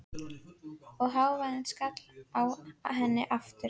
Og hávaðinn skall á henni aftur.